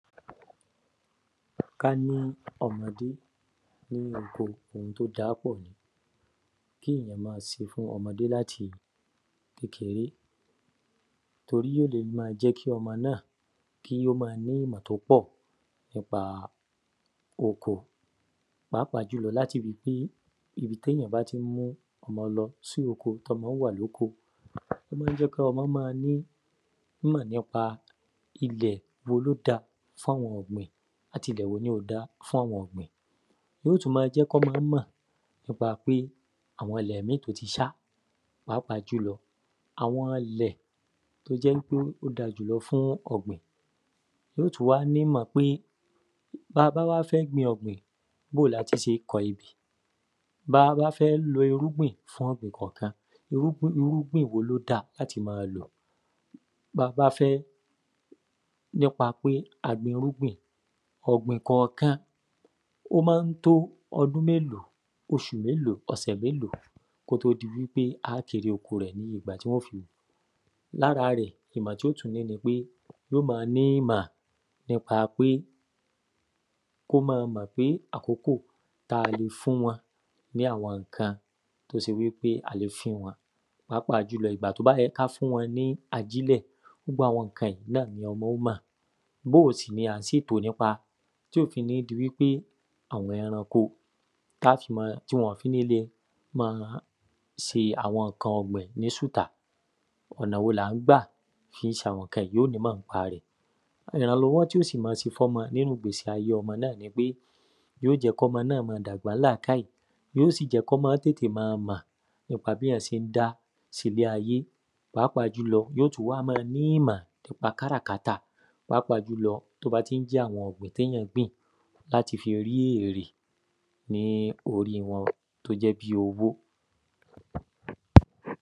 Ká ní ọmọdé nínú oko ‘hun t’ó da á pọ̀ ni kéyàn ma se fún ọmọdé l’áti kékeré torí yó le ma jẹ́ kí ọmọ náà k’ó ma ní ìmọ t’ó pọ̀ nípa oko pàápàá jùlọ l’áti rí pé ibi t’éyàn bá tí ń mu ọmọ lọ sí oko t’ọ́mọ wà l’óko á jẹ́ kí ọmọ ma ní ìmọ̀ n’ípa ìlẹ̀ wo l’ó da fáwọn ọ̀gbìn àti ìdẹ̀ wo ni ò da fáwọn ọ̀gbìn Yó tú ma jẹ́ k’ọ́mọ mọ̀ n’ípa pé àwọn ‘lẹ̀ míì t’ó ti ṣá pàápàá jùlọ àwọn ilẹ̀ t’ó jẹ́ wí pé ó da jùlọ fún ọ̀gbìn Yó tú wá nímọ̀ pé b’a bá wá fẹ́ gbin ọ̀gbìn, b’ó o l’áti se kọ ẹbẹ̀ B’a bá wá fẹ́ lo irúgbìn fún ọ̀gbìn kọ̀kan, irúgbìn wo ló da l’áti ma lọ̀ B’a bá fẹ́ n’ípa pé a gbin irúgbìn, ọ̀gbìn kọ̀kan ó má ń tó ọdún méló? oṣù meló? ọ̀sẹ̀ méló? Kó tó di wí pé wọ́n ó jère oko rẹ̀ ní ìgbà tí wọ́n ó fi L’ára rẹ̀ ìmọ̀ tí ó tú ní ni pé yó ma ní ìmọ̀ n’ípa pé k'ó ma mọ̀ pé àkókò t’a le fún wọn ní àwọn ǹkan t’ó se wí pe a le fún wọn pàápàá jùlọ ìgbà t’ó bá ẹ ká fún wọn ní ajílẹ̀. Gbogbo àwọn ǹkan yí náà ni ọmọ ó mọ̀ B’ó sì ni à ń sètò n’ípa t’ó fi ní di wí pé àwọn ẹranko tí wọn ò fi ni lé ma se àwọn ǹkan ọ̀gbìn ní sùtá Ọ̀nà wo l’à ń gbà fi se àwọn ǹkan yí yó tú mọ̀ ń’pa rẹ̀. Ìrànlọ́wọ́ tí ó sì ma se f’ọ́mọ nínú ìgbésí ayé ọmọ náà ni pé yó jẹ́ k’ómọ náà ma dàgbà ń làákàyè yíYó sì jẹ́ k’ọ́mọ tètè ma mọ̀ yí ó sì jẹ́ k’ọ́mọ tètè ma mọ̀ n’ípa b’éyàn sé ń dá s’ílé ayé Pàápàá jùlọ, yó tú wá ma ní ìmọ̀ n’ípa káràkátà. Pàápàá jùlọ, t’ó bá tí ń jẹ́ àwọn ògbìn t’éyàn gbìn l’áti fi rí èrè ní orí wọn t’ó jẹ́ bí owó